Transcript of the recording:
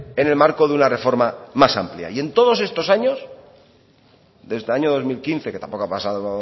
en el marco de una reforma más amplia y en todos estos años desde el año dos mil quince que tampoco han pasado